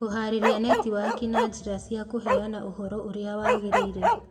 Kũhaarĩria netiwaki na njĩra cia kũheana ũhoro ũrĩa wagĩrĩire.